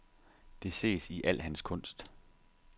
Det ses i al hans kunst.